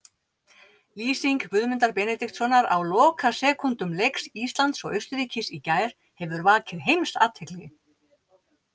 Lýsing Guðmundar Benediktssonar á lokasekúndum leiks Íslands og Austurríkis í gær hefur vakið heimsathygli.